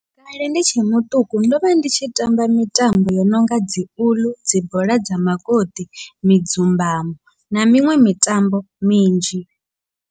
Kale ndi tshe muṱuku ndovha ndi tshi tamba mitambo yo nonga dzi uḽu, dzi bola dza makoṱi, midzumbamo na miṅwe mitambo minzhi.